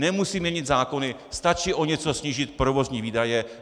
Nemusí měnit zákony, stačí o něco snížit provozní výdaje.